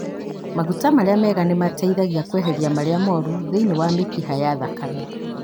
Maguta marĩa mega nĩ mateithagia kweheria marĩa mũru thĩinĩ wa mĩkiha ya thakame.